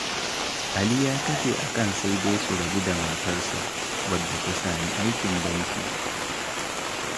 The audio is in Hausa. Ali ya kafe akan sai dai su rabu da matarsa, wadda ta sami aikin banki.